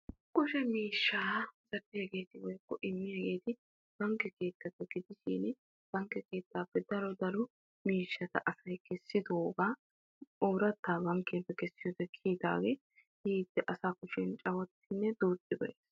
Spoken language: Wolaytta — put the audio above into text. Kushe miishsha immiyagette bankke keettappe daro miishshatta immiyodde woykko ekkiyoode kushee cawatanna danddayees.